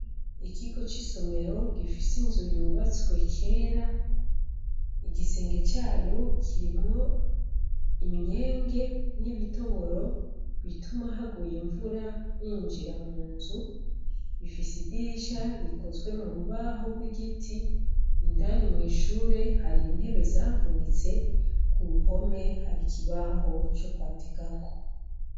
Ikigo c'isomero gifise inzu yubatswe kera igisenge cayo kirimwo imyenge n'ibitoboro bituma haguye imvura yinjira mu nzu ifise idirisha rikozwe mu rubaho rw'igiti indani mw'ishure harino tebe zavunitse ku ruhome hari ikibaho co kwandikako.